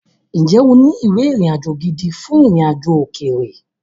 Ǹjẹ́ o ní ìwé ìrìnàjò gidi fún ìrìnàjò òkèèrè?